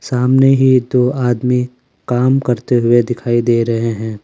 सामने ही दो आदमी काम करते हुए दिखाई दे रहे हैं।